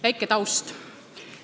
Natuke ka taustaks.